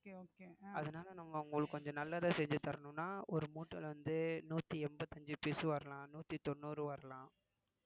அதனால நம்ம அவங்களுக்கு கொஞ்சம் நல்லதா செஞ்சு தரணும்னா ஒரு மூட்டையில வந்து நூத்தி எண்பத்தி அஞ்சு piece வரலாம் நூத்தி தொண்ணூறு வரலாம்